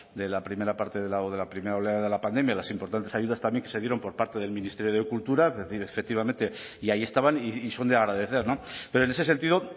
de la primera parte o de la primera oleada de la pandemia las importantes ayudas también que se dieron por parte del ministerio de cultura efectivamente y ahí estaban y son de agradecer pero en ese sentido